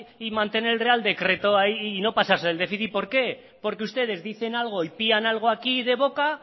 y mantener el real decreto ahí y no pasarse el déficit por qué porque ustedes dicen algo y pían algo aquí de boca